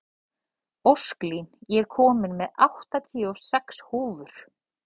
Ósklín, ég kom með áttatíu og sex húfur!